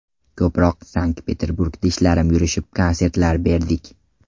Ko‘proq Sankt-Peterburgda ishlarim yurishib konsertlar berdik.